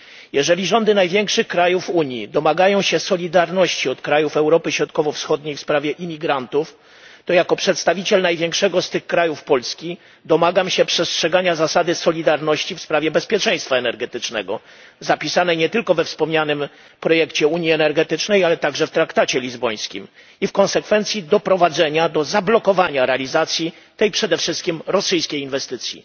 Jeżeli rządy największych krajów Unii domagają się solidarności od krajów Europy Środkowo Wschodniej w sprawie imigrantów, to jako przedstawiciel największego z tych krajów Polski domagam się przestrzegania zasady solidarności w sprawie bezpieczeństwa energetycznego zapisanej nie tylko we wspomnianym projekcie unii energetycznej, ale także w traktacie lizbońskim i w konsekwencji doprowadzenia do zablokowania realizacji tej przede wszystkim rosyjskiej inwestycji.